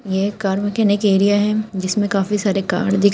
ये car mechanic area है जिसमें काफी सारे कार दिख--